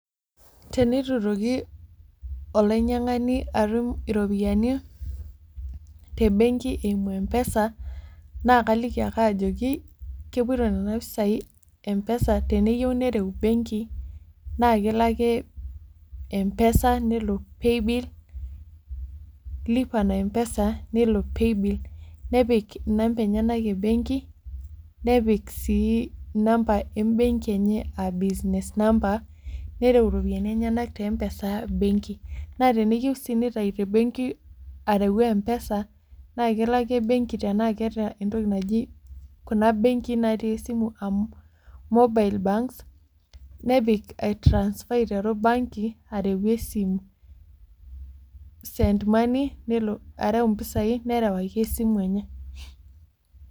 Tenitu itoki olainyang'ani atum iropiyiani tebenki eimu M-PESA, naa kaliki ake ajoki, kepoito nena pisai M-PESA teneyieu nereu benki, naa kelo ake M-PESA, nelo pay bill, lipa na m-pesa, nelo pay bill, nepik inamba enyanak ebenki, nepik sii inamba ebenki enye ah business number, nereu iropiyiani enyanak te M-PESA, benki. Naa teneyieu si nitayu tebenki areu M-PESA, naa kelo ake benki tanaa keeta entoki naji kuna benkii natii esimu mobile banks, nepik ai transfer aiteru banking, areu esimu. Send money, nelo areu impisai, nerewaki esimu enye.